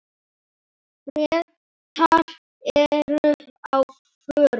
Bretar eru á förum.